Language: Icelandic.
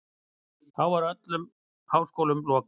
Þá verður öllum háskólum lokað.